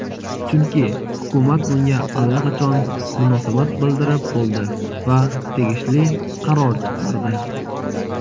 Chunki hukumat bunga allaqachon munosabat bildirib bo‘ldi va tegishli qaror chiqardi.